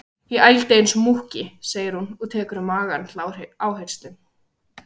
Ég ældi eins og múkki, segir hún og tekur um magann til áherslu.